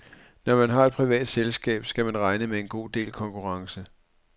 Når man har et privat selskab, skal man regne med en god del konkurrence.